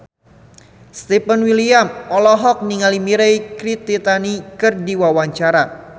Stefan William olohok ningali Mirei Kiritani keur diwawancara